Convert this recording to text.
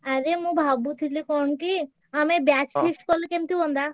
ଆରେ ମୁଁ ଭାବୁଥିଲି କଣ କି ଆମେ batch feast କଲେ କେମିତି ହୁଅନ୍ତା?